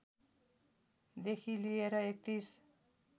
देखि लिएर ३१